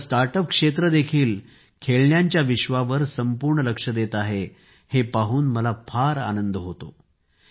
आपले startup क्षेत्र देखील खेळण्यांच्या विश्वावर संपूर्ण लक्ष देत आहेत हे पाहून मला फार आनंद होतो आहे